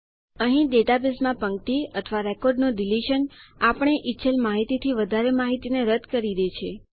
અહીં ડેટાબેઝમાં પંક્તિ અથવા રેકોર્ડનું ડીલીશનઆપણે ઈચ્છેલ માહિતીથી વધારે માહિતીને રદ્દ કરી દે છે